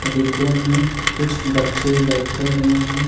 डिब्बों में कुछ बच्चे बैठ हुए हैं।